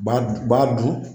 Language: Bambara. Badu badu